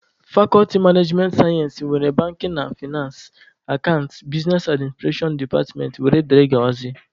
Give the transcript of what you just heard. Fakọlti managemenị sayensị nwere banking na fainansị, akantịn, bisnes adminstrashọn departmentị wdg.